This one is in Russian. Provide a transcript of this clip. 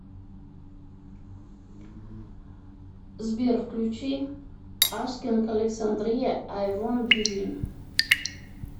сбер включи аскинг александрия ай вонт гив ин